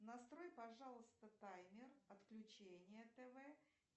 настрой пожалуйста таймер отключения тв